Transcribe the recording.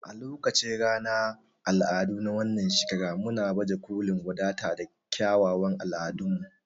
A lokacin ranar al'adu na wannan shekara muna baje kolin wadata da kyawawan al'adunmu.